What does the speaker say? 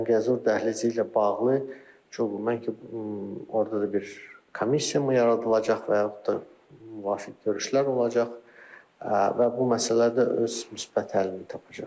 Zəngəzur dəhlizi ilə bağlı çox mən ki orda da bir komissiyamı yaradılacaq və yaxud da müvafiq görüşlər olacaq və bu məsələ də öz müsbət həllini tapacaq.